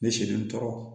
Ne selen n tɔɔrɔ